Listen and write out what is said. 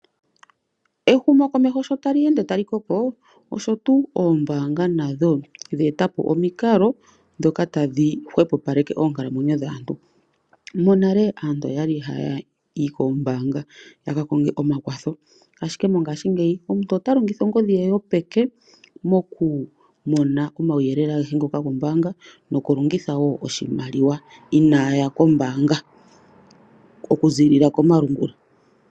Ehumokomeho sho tali ende tali koko osho tuu ombaanga nadho dhe eta po omikalo dhika tashi hwepo paleke oonkalamwenyo dhaantu monale aantu oyali haya yi koombanga ya kakonaga omakwatho ashike mongashingeyi omuntu ota longitha ongodhi ye yopeke moku mona omauyelele agehe gombaanga nokulongitha wo oshimaliwa inaaya kombaaanga okuziilila komalungula.